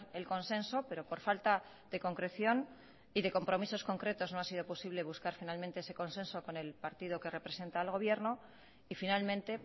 el consenso pero por falta de concreción y de compromisos concretos no ha sido posible buscar finalmente ese consenso con el partido que representa al gobierno y finalmente